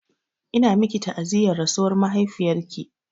Ina miki ta'aziyyar rasuwar mahaifiyarki.